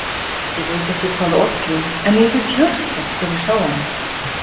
Ég veit ekki hvað olli en ég fékk hjartslátt þegar ég sá hana.